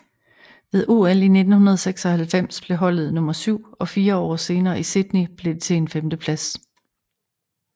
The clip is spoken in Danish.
Ved OL 1996 blev holdet nummer syv og fire år senere i Sydney blev det til en femteplads